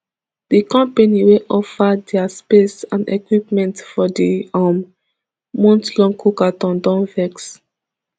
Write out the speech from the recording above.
di company wey offer dia space and equipment for di um monthlong cookathon don vex